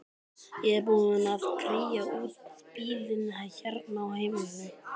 Ég er búin að kría út bílinn hérna á heimilinu.